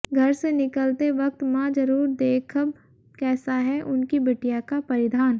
घर से निकलते वक्त मां जरूर देखद्म कैसा है उनकी बिटिया का परिधान